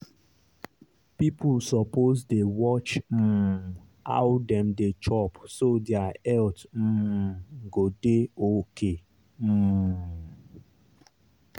people suppose dey watch um how dem dey chop so their health um go dey okay. um